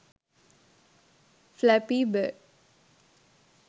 flappy bird